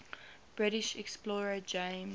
british explorer james